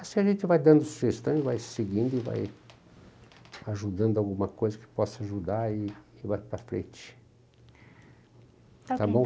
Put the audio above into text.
Assim a gente vai dando sugestões, vai seguindo e vai ajudando alguma coisa que possa ajudar e e vai para frente. Está bem.